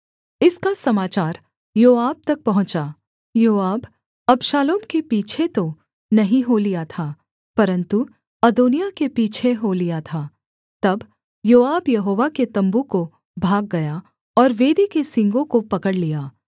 इसका समाचार योआब तक पहुँचा योआब अबशालोम के पीछे तो नहीं हो लिया था परन्तु अदोनिय्याह के पीछे हो लिया था तब योआब यहोवा के तम्बू को भाग गया और वेदी के सींगों को पकड़ लिया